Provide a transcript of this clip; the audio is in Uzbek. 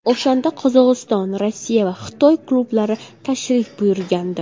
O‘shanda Qozog‘iston, Rossiya va Xitoy klublari tashrif buyurgandi.